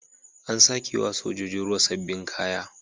An sake wa sojojin ruwa sabbin kaya.